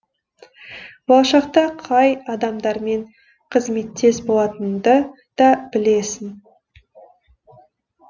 болашақта қай адамдармен қызметтес болатыныңды да білесің